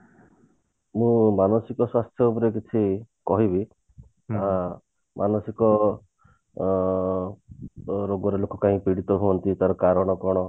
ମୁଁ ମାନସିକ ସ୍ୱାସ୍ଥ୍ୟ ଉପରେ କିଛି କହିବି ଅ ମାନସିକ ଅ ଯୋଉ ରୋଗରେ ଲୋକ କଣ ପୀଡିତ ହୁଅନ୍ତି ତାର କାରଣ କଣ